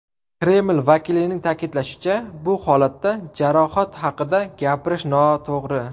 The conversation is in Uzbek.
Kreml vakilining ta’kidlashicha, bu holatda jarohat haqida gapirish noto‘g‘ri.